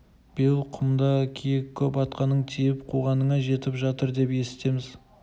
биыл құмда киік көп атқаның тиіп қуғаныңа жетіп жатыр деп есітеміз